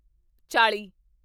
ਚਾਲੀ